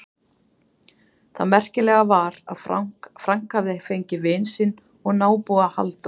Það merkilega var að Frank hafði fengið vin sinn og nábúa, Halldór